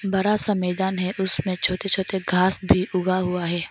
बड़ा सा मैदान है उनमें छोटे छोटे घास भी उगा हुआ हैं।